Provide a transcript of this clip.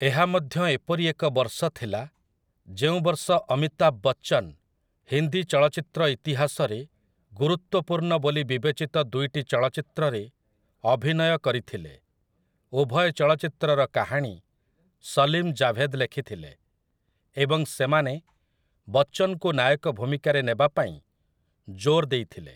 ଏହା ମଧ୍ୟ ଏପରି ଏକ ବର୍ଷ ଥିଲା ଯେଉଁ ବର୍ଷ ଅମିତାଭ୍ ବଚ୍ଚନ୍ ହିନ୍ଦୀ ଚଳଚ୍ଚିତ୍ର ଇତିହାସରେ ଗୁରୁତ୍ୱପୂର୍ଣ୍ଣ ବୋଲି ବିବେଚିତ ଦୁଇଟି ଚଳଚ୍ଚିତ୍ରରେ ଅଭିନୟ କରିଥିଲେ, ଉଭୟ ଚଳଚ୍ଚିତ୍ରର କାହାଣୀ ସଲିମ୍ ଜାଭେଦ୍ ଲେଖିଥିଲେ ଏବଂ ସେମାନେ ବଚ୍ଚନ୍‌ଙ୍କୁ ନାୟକ ଭୂମିକାରେ ନେବା ପାଇଁ ଜୋର୍ ଦେଇଥିଲେ ।